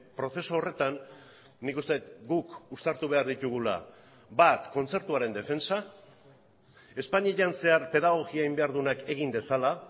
prozesu horretan nik uste dut guk uztartu behar ditugula bat kontzertuaren defentsa espainian zehar pedagogia egin behar duenak egin dezala